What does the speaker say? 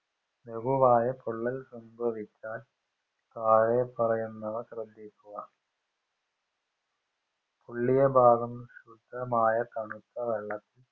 ലകുവായ പൊള്ളൽ സംഭവിച്ചാൽ തായേ പറയുന്നവ ശ്രദ്ദിക്കുക. പൊള്ളിയ ഭാഗം ശുദ്ധമായ തണുത്ത വെള്ളത്തിൽ